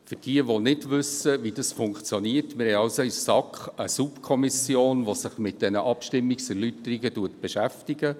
Für jene, die nicht wissen, wie es funktioniert: Wir haben in der SAK eine Subkommission, die sich mit den Abstimmungserläuterungen beschäftigt.